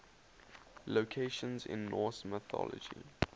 locations in norse mythology